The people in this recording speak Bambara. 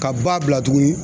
Ka ba bila tuguni